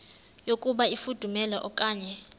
yokuba ifudumele okanye